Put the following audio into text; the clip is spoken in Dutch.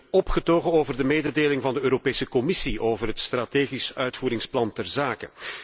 Ik ben opgetogen over de mededeling van de Europese Commissie over het strategisch uitvoeringsplan ter zake.